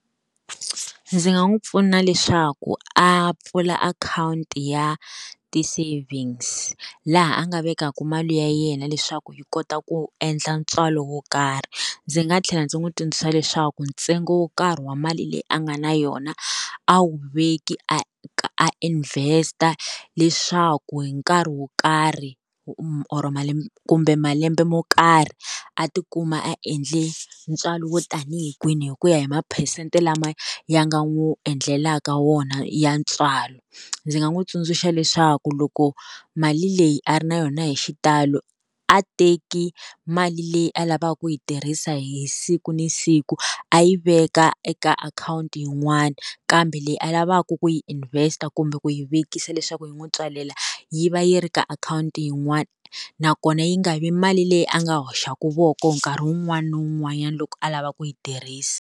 Ndzi nga n'wi pfuna leswaku a pfula akhawunti ya ti-savings laha a nga vekaka mali ya yena leswaku yi kota ku endla ntswalo wo karhi. Ndzi nga tlhela ndzi n'wi tsundzuxa leswaku ntsengo wo karhi wa mali leyi a nga na yona a wu veki a a invest leswaku hi nkarhi wo karhi or malembe kumbe malembe mo karhi a ti kuma a endle ntswalo wo tani hi kwihi, hi ku ya hi maphesente lama ya nga n'wi endlelaka wona ya ntswalo. Ndzi nga n'wi tsundzuxa leswaku loko mali leyi a ri na yona hi xitalo, a teki mali leyi a lavaka ku yi tirhisa hi siku ni siku a yi veka eka akhawunti yin'wani kambe leyi a lavaku ku yi invest kumbe ku yi vekisa leswaku yi n'wi tswalela yi va yi ri ka akhawunti yin'wana. Nakona yi nga vi mali leyi a nga hoxaku voko nkarhi wun'wana na wun'wanyana loko a lava ku yi tirhisa.